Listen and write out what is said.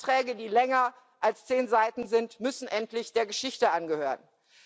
Anträge, die länger als zehn Seiten sind, müssen endlich der Geschichte angehören.